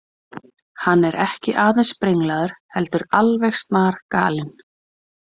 Hann er ekki aðeins brenglaður heldur alveg snargalinn.